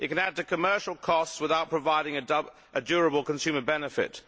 It can add to commercial costs without providing a durable consumer benefit.